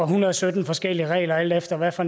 hundrede og sytten forskellige regler alt efter hvad for